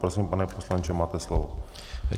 Prosím, pane poslanče, máte slovo.